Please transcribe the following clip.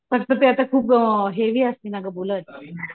फक्त ते आता खूप अ हेवी असते ना गं बुलेट